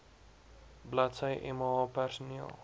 bladsy mh personeel